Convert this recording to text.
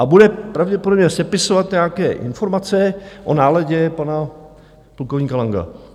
A bude pravděpodobně sepisovat nějaké informace o náladě pana plukovníka Langa.